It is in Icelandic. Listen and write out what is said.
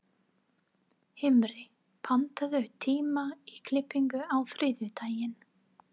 Himri, pantaðu tíma í klippingu á þriðjudaginn.